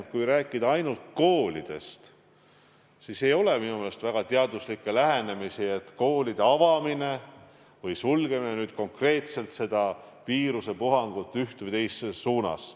Kui rääkida ainult koolidest, siis ei ole minu meelest väga palju teaduslikke lähenemisi selle kohta, et koolide avamine või sulgemine konkreetselt seda viirusepuhangut ühes või teises suunas mõjutaks.